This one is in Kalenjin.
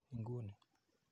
Ing'uu ni.